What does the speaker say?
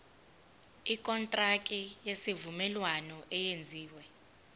ikontraki yesivumelwano eyenziwe